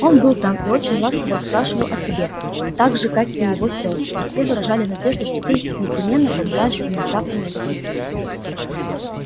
он был там и очень ласково расспрашивал о тебе так же как и его сестры и все выражали надежду что ты непременно побываешь у них завтра на барбекю